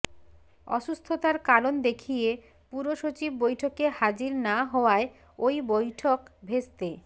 অসুস্থতার কারণ দেখিয়ে পুরসচিব বৈঠকে হাজির না হওয়ায় ওই বৈঠক ভেস্তে